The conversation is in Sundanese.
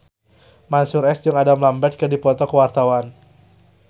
Mansyur S jeung Adam Lambert keur dipoto ku wartawan